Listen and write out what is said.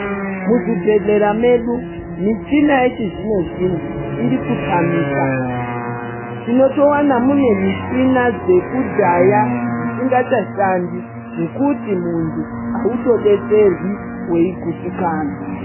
Muzvibhedhlera medu michini yechizvino zvino inotamika unotowana munemichina yekudhaya dzisinga chashandi zvekuti muntu hautodetserwi weyi agutsikana.